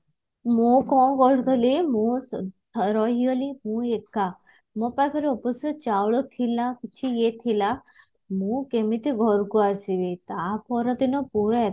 ମୁଁ କଣ କରୁଥିଲି ମୁଁ ରହିଗଲି ସେ ବି ଏକା ମୋ ପକାହରେ ଅବଶ୍ୟ ଚାଉଳ ଥିଲା କିଛି ଇଏ ଥିଲା ମୁଁ କେମିତି ଘରକୁ ଆସିବି ତାପର ଦିନ ପୁରା